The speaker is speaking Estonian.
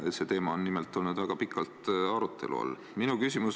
See teema on nimelt olnud väga pikalt arutelu all.